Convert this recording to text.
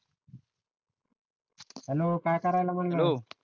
hello काय कराला म्हणल